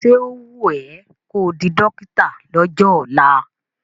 Ṣé ó wùn ẹ́ ko di dọ́kítà lọ́jọ́ ọ̀la?